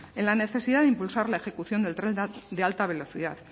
en la necesidad de impulsar la ejecución del tren de alta velocidad